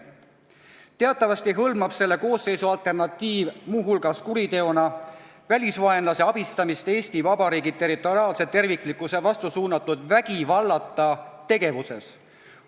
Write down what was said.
Teatavasti hõlmab selle koosseisu alternatiiv muu hulgas kuriteona välisvaenlase abistamist Eesti Vabariigi territoriaalse terviklikkuse vastu suunatud vägivallata tegevuses.